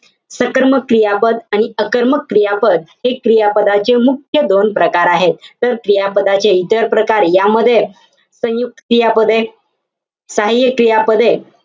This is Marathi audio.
सकर्मक क्रियापद आणि अकर्मक क्रियापद, हे क्रियापदाचे मुख्य दोन प्रकार आहेत. तर क्रियापदातील इतर प्रकार यामध्ये संयुक्त क्रियापदे सहाय्य्य क्रियापदे,